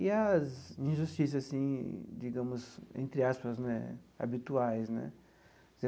E as injustiças assim, digamos, entre aspas né, habituais né.